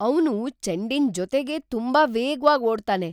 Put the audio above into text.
ಅವ್ನು ಚೆಂಡಿನ್‌ ಜೊತೆಗೆ ತುಂಬಾ ವೇಗ್ವಾಗ್ ಓಡ್ತಾನೆ!